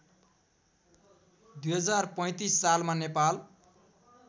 २०३५ सालमा नेपाल